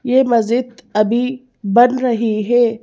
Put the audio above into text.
ये मस्जिद अभी बन रही है।